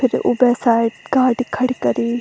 फिर ऊबे साइड गाड़ी खड़ी करीं।